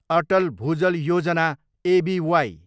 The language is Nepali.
Atal Bhujal Yojana, ABY